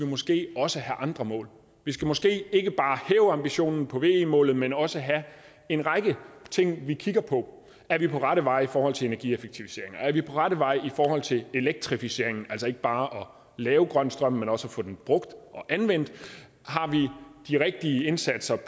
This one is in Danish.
måske også have andre mål vi skal måske ikke bare hæve ambitionen på ve målet men også have en række ting vi kigger på er vi på rette vej i forhold til energieffektiviseringer er vi på rette vej i forhold til elektrificeringen altså ikke bare at lave grøn strøm men også at få den brugt og anvendt har vi de rigtige indsatser